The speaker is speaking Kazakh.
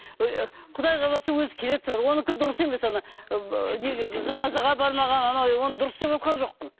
ы құдай қаласа өзі келетін шығар онікі дұрыс емес ы неге жаназаға бармаған анау оны дұрыс деп отырған жоқпын